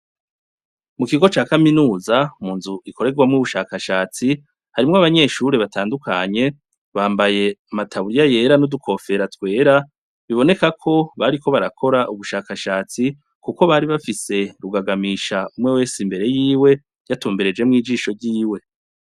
Mu kigo ca kaminuza, mu nzu ikorerwamwo ubushakashatsi harimwo abanyeshuri batandukanye, bambaye ama taburiya yera n'udu kofera twera biboneka ko bariko barakora ubushakashatsi kuko bari bafise rugagamisha umwe wese imbere yiwe, yatumberejemwo ijisho ryiwe.